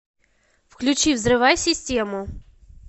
включи взрывай систему